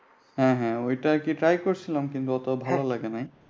হ্যাঁ হ্যাঁ ঐটা আর কি try করছিলাম এত ভালো লাগে নাই।